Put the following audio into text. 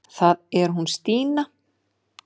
Það er hún Stína.